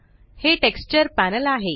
हे texture panel आहे